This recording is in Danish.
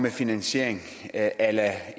finansiering og jeg er